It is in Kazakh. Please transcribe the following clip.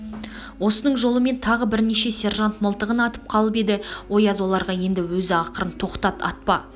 осының жолымен тағы бірнеше сержант мылтығын атып қалып еді ояз оларға енді өз ақырып тоқтат атпа